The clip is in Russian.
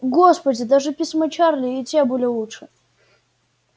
господи даже письма чарли и те были лучше